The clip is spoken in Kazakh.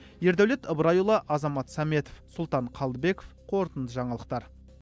ердәулет ыбырайұлы азамат сәметов сұлтан қалдыбеков қорытынды жаңалықтар